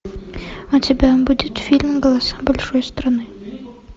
у тебя будет фильм голоса большой страны